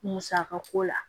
Musaka ko la